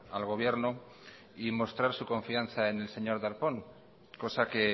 al gobierno y mostrar su confianza en el señor darpón cosa que